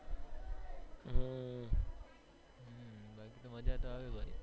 મજ્જા તો આવે વળી